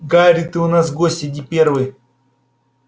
гарри ты у нас гость иди первый